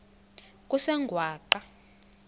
kusengwaqa